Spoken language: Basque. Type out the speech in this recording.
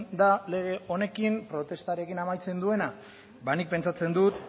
da lege honekin protestarekin amaitzen duena ba nik pentsatzen dut